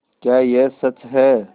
क्या यह सच है